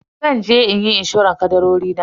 Zanje inyi inshorar kadarori na.